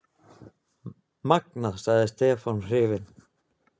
Magnað! sagði Stefán hrifinn.